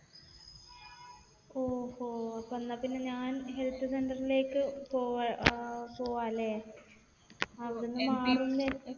ഓഹോ. അപ്പൊ എന്നാൽ പിന്നെ ഞാൻ health center ലേക്ക് പോവാം. അല്ലെ? അവിടെ നിന്ന് മാറു